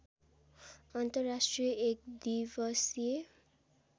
अन्तर्राष्ट्रिय एक दिवसीय